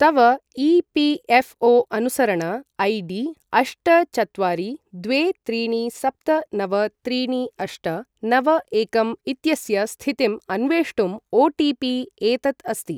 तव ई.पी.एफ़्.ओ.अनुसरण I D अष्ट चत्वारि द्वे त्रीणि सप्त नव त्रीणि अष्ट नव एकं इत्यस्य स्थितिम् अन्वेष्टुम् ओटिपि एतत् अस्ति।